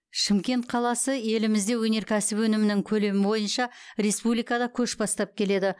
шымкент қаласы елімізде өнеркәсіп өнімінің көлемі бойынша республикада көш бастап келеді